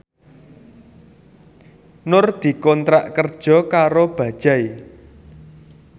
Nur dikontrak kerja karo Bajaj